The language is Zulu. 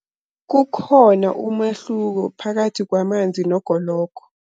Kukhona umahluko phakathi kwamanzi nogologo.